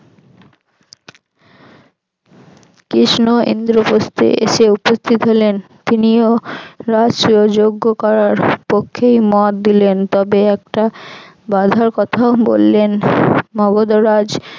কৃষ্ণ ইন্দ্রপ্রস্থে এসে উপস্থিত হলেন তিনিও রাষ্ট্রযঞ্জ করার পক্ষেই মত দিলেন তবে একটা বাধার কথাও বললেন মগধরাজ